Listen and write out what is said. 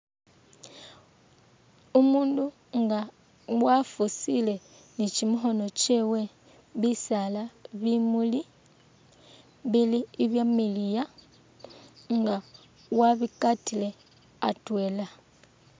Umundu nga wafusile ni kyimikhono kyebwe bisaala bimuuli bili ibyamiliya nga wabikatile atwela